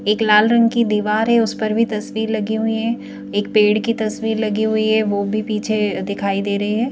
एक लाल रंग की दीवार है उस पर भी तस्वीर लगी हुई है एक पेड़ की तस्वीर लगी हुई है वो भी पीछे दिखाई दे रहे हैं।